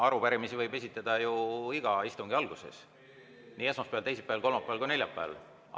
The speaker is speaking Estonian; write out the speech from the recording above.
Arupärimisi võib esitada ju iga istungi alguses, nii esmaspäeval, teisipäeval, kolmapäeval kui ka neljapäeval.